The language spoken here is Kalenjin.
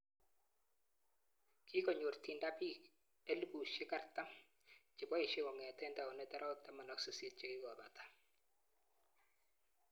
Kikonyor Tinder piik 40,000 chepoishei kongetei taunet arawek 18 chekikopata